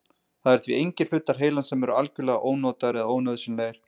Það eru því engir hlutar heilans sem eru algjörlega ónotaðir eða ónauðsynlegir.